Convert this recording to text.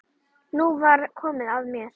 Nú var komið að mér.